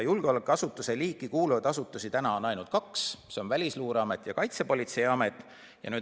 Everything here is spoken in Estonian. Julgeolekuasutuste hulka kuuluvaid asutusi on praegu ainult kaks: Välisluureamet ja Kaitsepolitseiamet.